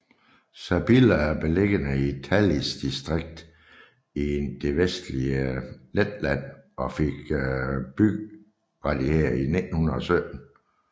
Sabile er beliggende i Talsis distrikt i det vestlige Letland og fik byrettigheder i 1917